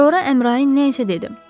Sonra Əmrayın nə isə dedi.